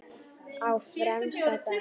Á fremsta bekk.